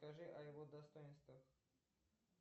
скажи о его достоинствах